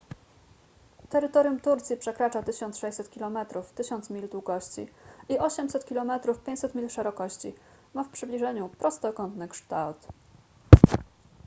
terytorium turcji przekracza 1600 kilometrów 1000 mil długości i 800 kilometrów 500 mil szerokości ma w przybliżeniu prostokątny kształt